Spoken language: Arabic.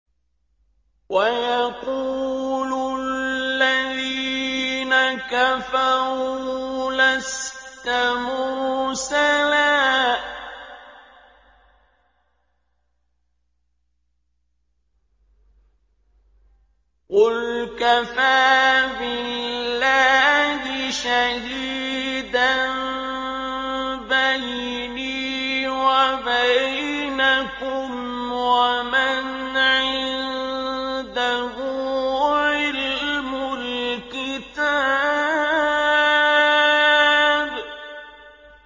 وَيَقُولُ الَّذِينَ كَفَرُوا لَسْتَ مُرْسَلًا ۚ قُلْ كَفَىٰ بِاللَّهِ شَهِيدًا بَيْنِي وَبَيْنَكُمْ وَمَنْ عِندَهُ عِلْمُ الْكِتَابِ